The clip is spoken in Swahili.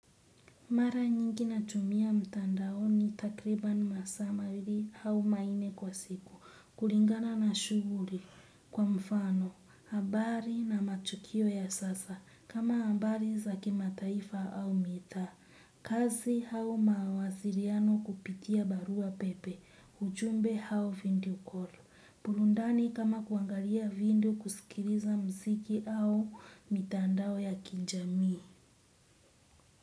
Mara nyingi natumia mtandaoni takribani masaa mawili au manne kwa siku, kulingana na shughuli. Kwa mfano, habari na matukio ya sasa, kama habari za kimataifa au mitaa. Kazi au mawasiliano kupitia barua pepe, ujumbe au video call. Burundani kama kuangalia video, kusikiliza muziki au mitandao ya kijamii.